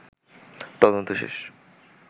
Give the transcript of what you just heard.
তদন্ত শেষ